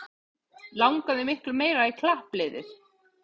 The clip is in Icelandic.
Langaði miklu meira í klappliðið